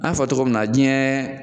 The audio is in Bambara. An y'a fɔ togo min na diyɛn